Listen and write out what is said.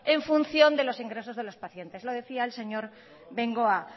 en función de los ingresos de los pacientes lo decía el señor bengoa